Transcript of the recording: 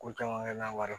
Ko caman kɛ n'a wari